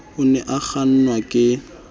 o ne a kgannwa ke